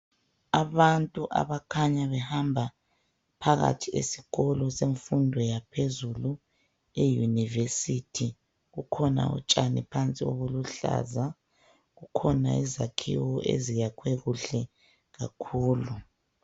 Abantu abakhanya behamba phakathi esikolo semfundo eyunivesithi kukhona utshani phandle olubuhlaza kukhona izakhiwo eziyakhwe kuhle kakhulu.